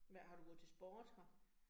Hvad, har du gået til sport her?